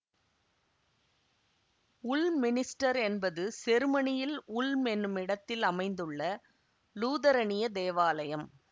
உல் minster என்பது செருமனியில் Ulm எனும் இடத்தில் அமைந்துள்ளள லூதரனிய தேவாலயம்